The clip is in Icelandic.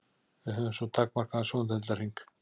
Við höfum svo takmarkaðan sjóndeildarhring.